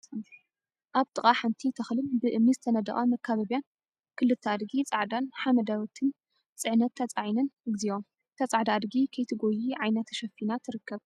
አብ ጥቃ ሓንቲ ተክሊን ብእምኒ ዝተነደቀ መካበቢያን ክልተ አድጊ ፃዕዳን ሐመደወቲትን ፅዕነት ተፃዒነን፡፡ እግዚኦ! እታ ፃዕዳ አድጊ ከይትጎይ ዓይና ተሸፊና ትርከብ፡፡